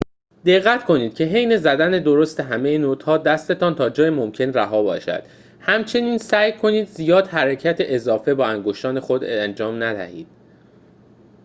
دقت کنید که حین زدن درست همه نوت‌ها دستتان تا جای ممکن رها باشد همچنین سعی کنید زیاد حرکت اضافه با انگشتان خود انجام ندهید